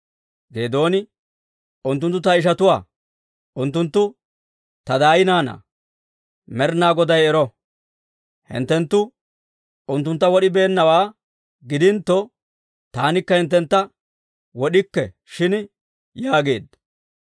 Geedooni, «Unttunttu ta ishatuwaa; unttunttu ta daay naanaa. Med'inaa Goday ero! Hinttenttu unttuntta wod'ibeennawaa gidintto, taanikka hinttentta wod'ikke shin» yaageedda.